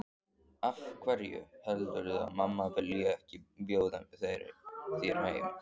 Af hverju heldurðu að mamma vilji ekki bjóða þér heim?